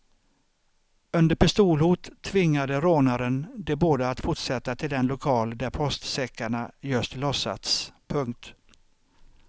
Under pistolhot tvingade rånaren de båda att fortsätta till den lokal där postsäckarna just lossats. punkt